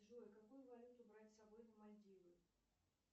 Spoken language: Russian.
джой какую валюту брать с собой на мальдивы